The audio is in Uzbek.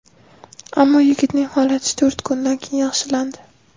Ammo yigitning holati to‘rt kundan keyin yaxshilandi.